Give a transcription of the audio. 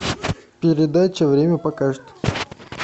передача время покажет